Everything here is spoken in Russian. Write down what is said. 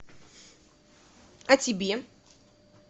о тебе